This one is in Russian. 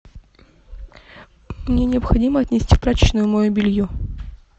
мне необходимо отнести в прачечную мое белье